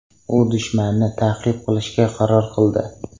U dushmanni ta’qib qilishga qaror qildi.